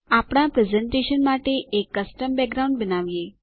આપણા પ્રેઝેંટેશન માટે એક કસ્ટમ બેકગ્રાઉન્ડ બનાવીએ